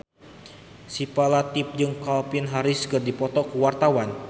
Syifa Latief jeung Calvin Harris keur dipoto ku wartawan